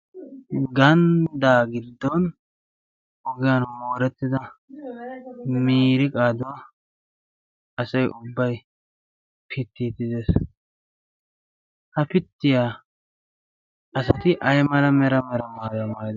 ganddaa gidddon oggiyan moorettida miriqaaduwaa asai ubbai pittiitidees ha pittiyaa asati ay mala mera mera maayaa maayidona